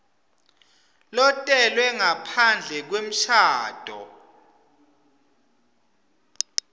lotelwe ngaphandle kwemshado